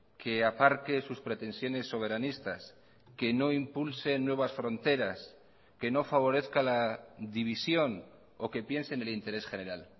que aparque sus pretensiones soberanistas que no impulsen nuevas fronteras que no favorezca la división o que piense en el interés general